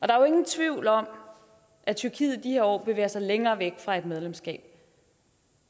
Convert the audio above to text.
der er ingen tvivl om at tyrkiet i de her år bevæger sig længere væk fra et medlemskab